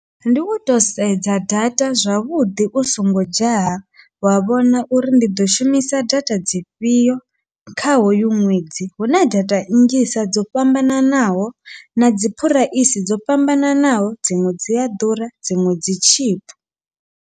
Ndi uto sedza data zwavhuḓi u songo dzhaya, wa vhona uri ndi ḓo shumisa data dzifhio kha hoyu ṅwedzi huna data nnzhisa dzo fhambananaho nadzi phuraisi dzo fhambananaho, dziṅwe dzi a ḓura dziṅwe dzi tshipi.